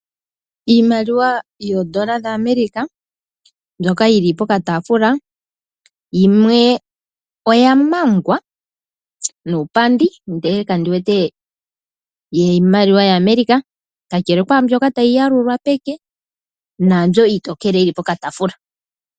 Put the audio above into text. Iimaliwa yoodollar dhaAmerica. Mbyoka yili pokatafuula. Yimwe oya mangwa nuupandi ndele kandi wete yiimaliwa yaAmerica. Kakele kwaambyoka tayi yalulwa peke naambyo iitokele yili pokatafuula.